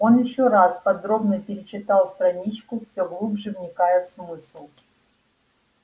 он ещё раз подробно перечитал страничку все глубже вникая в смысл